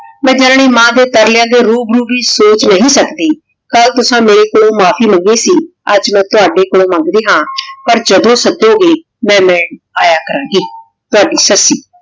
ਮੈਂ ਜਾਨਨੀ ਮਾਨ ਦੇ ਤਾਰ੍ਲ੍ਯਾਂ ਦੇ ਰੂ ਬਰੋ ਵੀ ਸੋਚ ਨਹੀ ਸਕਦੀ ਕਲ ਤੁਸਾਂ ਮੇਰੇ ਕੋਲੋਂ ਮਾਫ਼ੀ ਮੰਗ ਸੀ ਆਜ ਮੈਂ ਤੁਹਾਡੇ ਕੋਲੋਂ ਮੰਗਦੀ ਹਾਂ ਪਰ ਜਦੋਂ ਸੱਦੋ ਗੇ ਮੈਂ ਮਿਲਣ ਆਯਾ ਕਰਨ ਗੀ ਤਵਾਦੀ ਸੱਸੀ